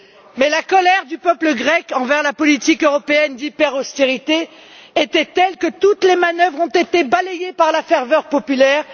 Mais la colère du peuple grec envers la politique européenne d'hyperaustérité était telle que toutes les manœuvres ont été balayées par la ferveur populaire.